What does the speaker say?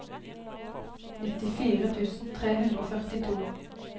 nittifire tusen tre hundre og førtito